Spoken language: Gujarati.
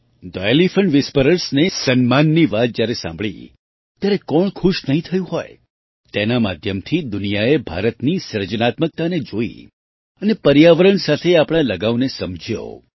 થે એલિફન્ટ વ્હિસ્પરર્સ ને સન્માનની વાત જ્યારે સાંભળી ત્યારે કોણ ખુશ નહીં થયું હોય તેના માધ્યમથી દુનિયાએ ભારતની સર્જનાત્મકતાને જોઈ અને પર્યાવરણ સાથે આપણા લગાવને સમજ્યો